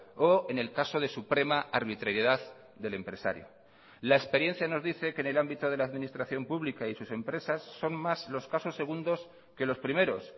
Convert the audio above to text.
o en el caso de suprema arbitrariedad del empresario la experiencia nos dice que en el ámbito de la administración pública y sus empresas son más los casos segundos que los primeros